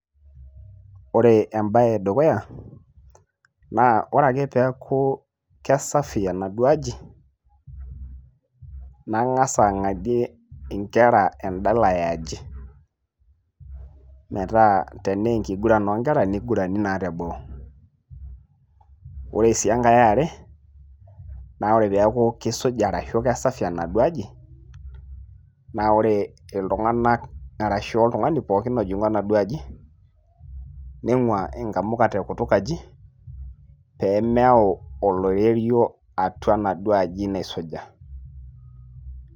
Ore embae eduuya naa ore ae peaku kesafi enaaduoo aji nangas angadie inkera endala eeaji metaa tenaa eniguran oonkera nigurani naa teboo ore sii enkae eare naa ore peaku kisuja arashu kisafi enaduoo aji naa ore iltunganak arashu oltungani pooin ojingu enaduoo aji ,ningwaa nkamuka tekutuk aji pemeyau olirerio atua enaduoo aji naisuja.